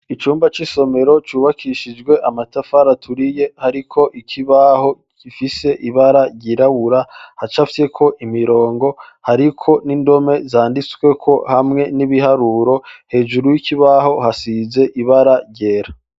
Icumba c'isomero ryubakishijwe amatafari aturiye hariko ikibaho kifise ibara ryirabura hacafyeko imirongo hariko n'indome zanditsweko hamwe n'ibiharuro hejuru y'ikibaho hasize ibara ryera.